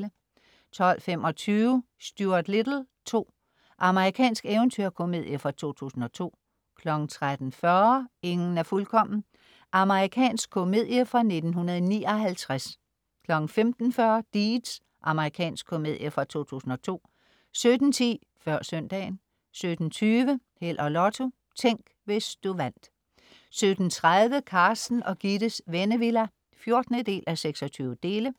12.25 Stuart Little 2. Amerikansk eventyrkomedie fra 2002 13.40 Ingen er fuldkommen. Amerikansk komedie fra 1959 15.40 Deeds. Amerikansk komedie fra 2002 17.10 Før søndagen 17.20 Held og Lotto. Tænk, hvis du vandt 17.30 Carsten og Gittes Vennevilla 14:26